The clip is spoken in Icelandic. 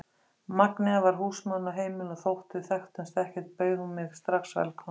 Magnea var húsmóðirin á heimilinu og þótt við þekktumst ekkert bauð hún mig strax velkomna.